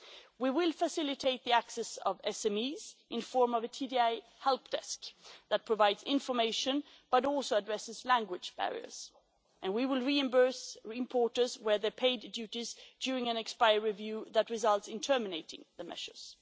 We will facilitate the access of SMEs in the form of a TDI helpdesk that provides information but also addresses language barriers and we will reimburse importers where they have paid duties during an expiry review that results in terminating the measures.